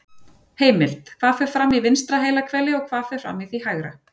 Heimild: Hvað fer fram í vinstra heilahveli og hvað fer fram í því hægra?